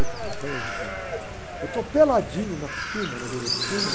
Opa, lá vai eu. Eu estou peladinho na piscina, na beira da piscina.